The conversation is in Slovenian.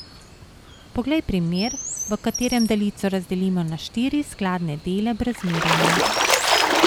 Poglej primer, v katerem daljico razdelimo na štiri skladne dele brez merjenja.